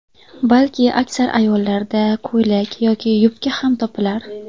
Balki, aksar ayollarda ko‘ylak yoki yubka ham topilar.